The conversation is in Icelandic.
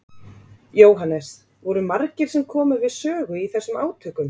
Jóhannes: Voru margir sem komu við sögu í þessum átökum?